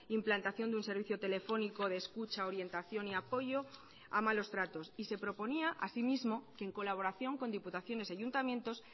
implantación de un servicio telefónico de escucha orientación y apoyo a malos tratos y se proponía asimismo que en colaboración con diputaciones y ayuntamientos